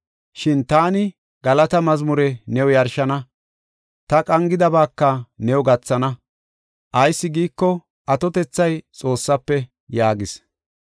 Shin taani galata mazmure new yarshana. Ta qangidabaaka new gathana. Ayis giiko, atotethay Xoossafe” yaagis.